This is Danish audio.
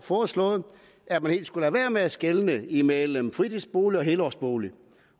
foreslået at man helt skulle lade være med at skelne imellem fritidsbolig og helårsbolig